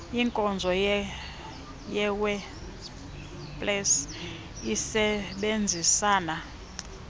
inkonzo yewebpals isebenzisana